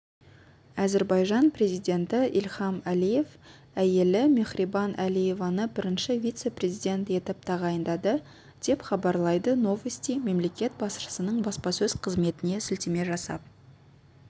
әзірбайжан президенті ильхам алиев әйелі мехрибан алиеваны бірінші вице-президент етіп тағайындады деп хабарлайды новости мемлекет басшысының баспасөз қызметіне сілтеме жасап